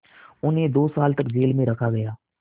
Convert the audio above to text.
उन्हें दो साल तक जेल में रखा गया